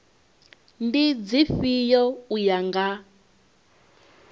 ndi dzifhio u ya nga